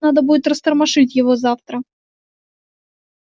надо будет растормошить его завтра